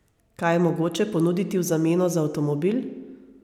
Kaj je mogoče ponuditi v zameno za avtomobil?